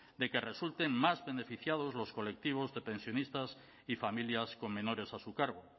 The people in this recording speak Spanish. de que resulten más beneficiados los colectivos de pensionistas y familias con menores a su cargo